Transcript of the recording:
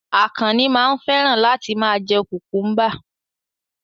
Àkànnì máa ń fẹ́ràn láti ma jẹ́ kùkúḿbà